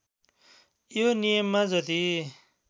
यो नियममा जति